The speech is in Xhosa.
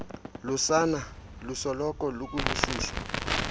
lusana lusoloko lukubushushu